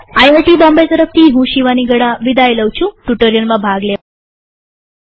IIT Bombay તરફથી હું શિવાની ગડા વિદાય લઉં છુંટ્યુ્ટોરીઅલમાં ભાગ લેવા આભાર